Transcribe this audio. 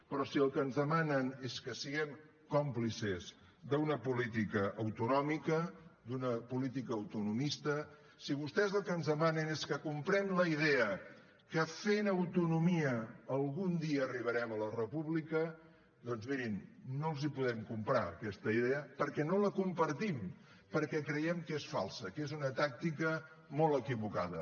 però si el que ens demanen és que siguem còmplices d’una política autonòmica d’una política autonomista si vostès el que ens demanen és que comprem la idea que fent autonomia algun dia arribarem a la república doncs mirin no els podem comprar aquesta idea perquè no la compartim perquè creiem que és falsa que és una tàctica molt equivocada